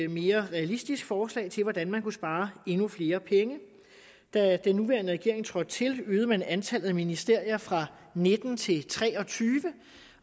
mere realistisk forslag til hvordan man kunne spare endnu flere penge da den nuværende regering trådte til øgede man antallet af ministerier fra nitten til tre og tyve